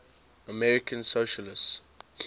american socialists